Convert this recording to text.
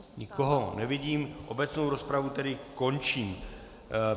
Nikoho nevidím, obecnou rozpravu tedy končím.